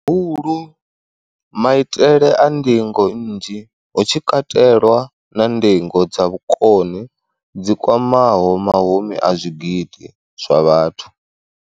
Hulu, maitele a ndingo nnzhi, hu tshi katelwa na ndingo dza vhukoni dzi kwamaho mahumi a zwigidi zwa vhathu.